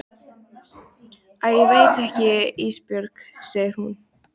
Æ ég veit það ekki Ísbjörg, segir hún.